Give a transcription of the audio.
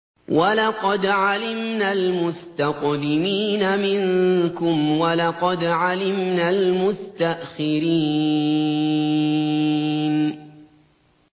وَلَقَدْ عَلِمْنَا الْمُسْتَقْدِمِينَ مِنكُمْ وَلَقَدْ عَلِمْنَا الْمُسْتَأْخِرِينَ